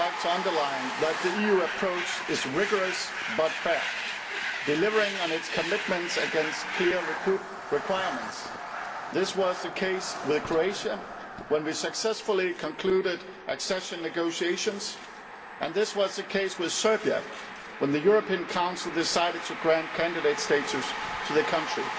underline that the EU approach is rigorous but fair, delivering on its commitments against clear requirements. This was the case with Croatia when we successfully concluded accession negotiations, and this was the case with Serbia when the European Council decided to grant candidate status to the country.